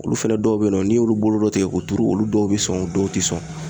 Olu fɛnɛ dɔw be yen nɔ n'i y'olu bolo dɔ tigɛ k'u tuuru olu dɔw be sɔn dɔw ti sɔn